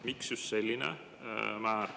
Miks just selline määr?